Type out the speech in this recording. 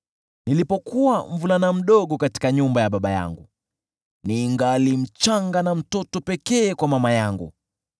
Nilipokuwa mvulana mdogo katika nyumba ya baba yangu, ningali mchanga na mtoto pekee kwa mama yangu,